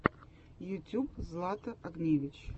ютьюб злата огневич